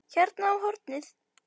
Hérna á hornið.